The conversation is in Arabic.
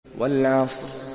وَالْعَصْرِ